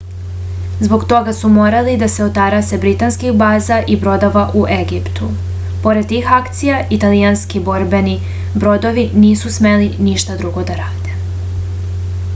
zbog toga su morali da se otarase britanskih baza i brodova u egiptu pored tih akcija italijanski borbeni brodovi nisu smeli ništa drugo da rade